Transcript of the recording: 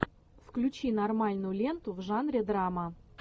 включи нормальную ленту в жанре драма